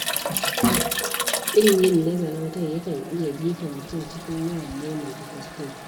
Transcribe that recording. Ƙin yin nazarin kai yakan iya jefa mutum cikin yawan maimaita kuskure.